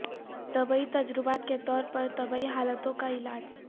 طبی تجربات کے طور پر طبی حالتوں کا علاج